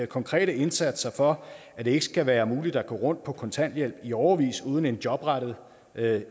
konkrete indsatser for at det ikke skal være muligt at gå rundt på kontanthjælp i årevis uden en jobrettet